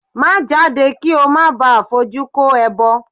Má jáde kí ó má baà fojú kó ẹbọ!